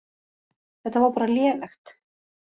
Þetta var bara lélegt.